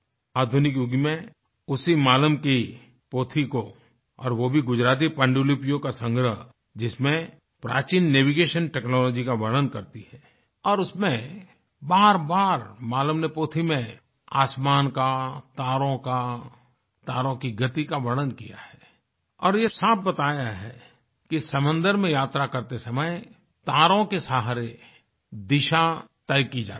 आधुनिक युग में उसी मालम की पोथी को और वो भी गुजराती पांडुलिपियों का संग्रह जिसमें प्राचीन नेविगेशन टेक्नोलॉजी का वर्णन करती है और उसमें बारबार मालम नी पोथी में आसमान का तारों का तारों की गति का वर्णन किया है और ये साफ बताया है कि समन्दर में यात्रा करते समय तारों के सहारे दिशा तय की जाती है